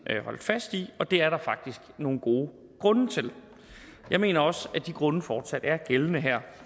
holdt fast i og det er der faktisk nogle gode grunde til jeg mener også at de grunde fortsat er gældende her